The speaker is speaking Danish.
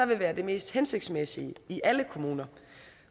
vil være det mest hensigtsmæssige i alle kommuner